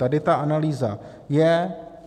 Tady ta analýza je.